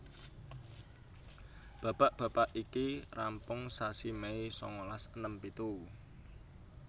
Babak babak iki rampung sasi Mei sangalas enem pitu